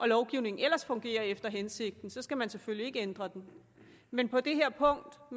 lovgivningen ellers fungerer efter hensigten for så skal man selvfølgelig ikke ændre den men på det her punkt